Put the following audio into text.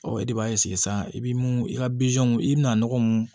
Ɔ e de b'a sisan i bɛ mun i ka i bɛ na nɔgɔ mun